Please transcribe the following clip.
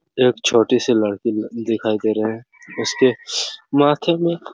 एक छोटी सी लड़की ल दिखाई दे रहे है उसके माथे में एक--